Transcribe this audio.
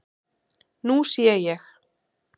Nú sé ég.